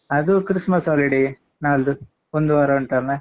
ಅದು Christmas holiday ನಾಳ್ದು ಒಂದು ವಾರ ಉಂಟಲ್ಲಾ?